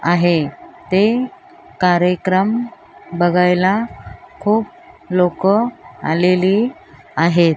आहे ते कार्यक्रम बघायला खूप लोक आलेली आहेत.